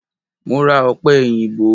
Mo ra Ọ̀pẹ èyìǹbó.